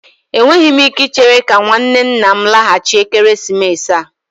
Enweghị m ike ichere ka nwanne nna m laghachi ekeresimesi a